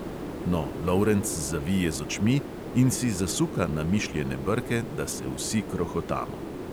No, lovrenc zavije z očmi in si zasuka namišljene brke, da se vsi krohotamo.